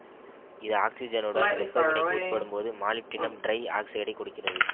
இது ஆக்சிசனுடன் வெப்ப வினைக்கு உட்படும்போது மாலிப்டினம்டிரைஆக்சைடை கொடுக்கிறது